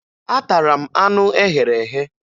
Atara m anụ e ghere eghe